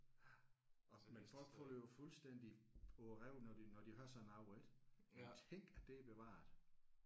Ja og men folk falder jo fuldtændig på røven når de når de hører sådan noget ik. Tænk at det er bevaret